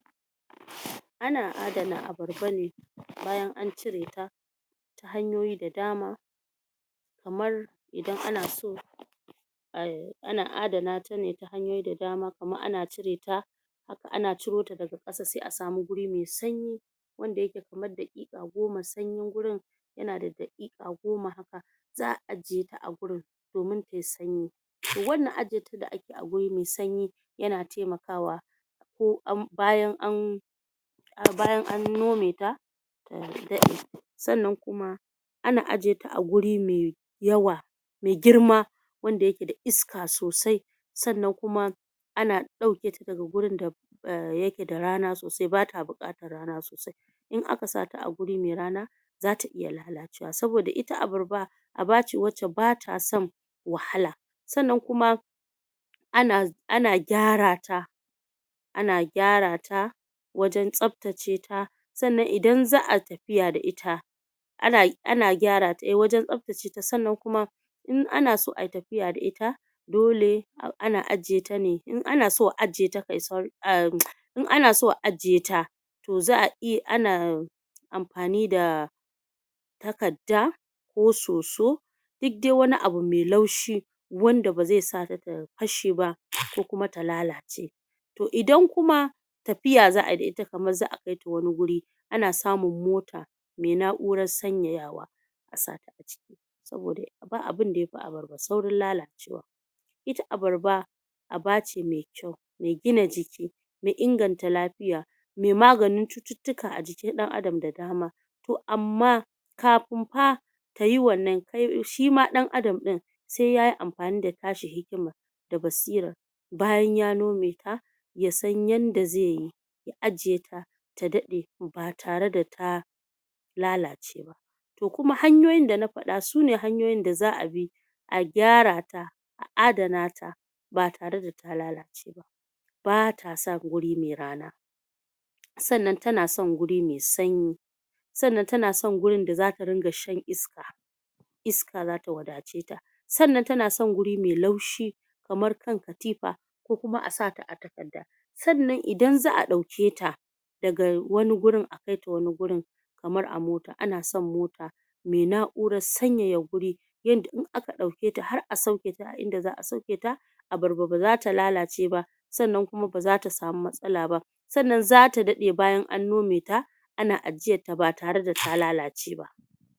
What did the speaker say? ana adana abar ba ne bayan an cire ta ta hanyoyi da dama kamar idan anaso ai ana adanatane ta hanyoyi da dama kaman ana cireta ana curota daga ƙasa se asama guri me sanyi wanda yake kaman daƙiƙa agoma sanyi gurin yana da daƙiƙa goma haka za a ajjiyata a gurin domin tayi sanyi wannan ajjiyeta da akeyi aguri mai sanyi yana temakawa ko an bayan an bayan a nometa ta daɗe sannan kuma ana ajjiyeta aguri me yawa me girma wanda yake da iska so sai sannan kuma ana ɗauketa daka gurin da eh da yake da rana sosai bata buƙatan rana sosai in aka sata aguri me rana zata iya lalacewa saboda it abarba abace wanda batason wahala sanan kuma ana ana gyarata ana gyarata wajan tsaftaceta sannan idan za ai tafiya da ita ana ana gyarata wa eh wajan tsafta ceta insannan kuma anaso ai tafiya da ita dole ana ajjiyeta, in anaso a ajjiyeta ne in anaso a ajjiyeta to za a iya ana amfani da takadda ko soso dik dai wani abu mai laushi wandan baze sata tafasheba ko kuma ta lalace to idan kuma tafiya za ai da ita kaman za a kaita wani guri ana samun mota me na uran san yayawa asata aciki saboda ba abin da yafi abarba saurin lala cewa ita abarba abace me kyau me gina jiki me inganta lafiya me maganin cututtukan a jikin ɗan adam da dama to amma kafin fa tayi wannan shima ɗan adam ɗin se yayi amfani da tashi hikiman da basiran bayan ya nometa yasan yanda zeyi ya ajjiyeta ta daɗe batare da ta lalace ba to kuma hanyoyin da nafaɗa sune hanyoyin da za abi a gyarata a adanata batare da ta lalaceba bata son guri me rana sannan tanson guri me sanyi sannan tana son gurin da zata dinga shan iska iska zata wada ceta sannan tana son gurri me laushi kamar kan katifa ko kuma asata a takadda sannan idan za a ɗauketa daga wani gurin akita wani kamar a mota ana son mota me na urar sanyaya guri yadda in aka ɗauketa har a sauketa a idan za a sauketa abarba bazata lalace ba sannan kuma zata samu mtsalaba sannan zata dadai bayan a nometa ana ajjiyatta batare da ta lalace ba